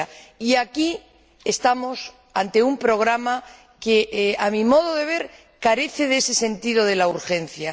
Y aquí estamos ante un programa que, a mi modo de ver, carece de ese sentido de la urgencia.